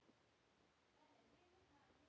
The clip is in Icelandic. Hvernig bregst ég við?